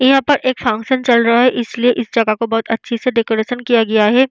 यहाँ पर एक फंक्शन चल रहा है इसलिए इस जगह को बहुत अच्छे से डेकोरेशन किया गया है।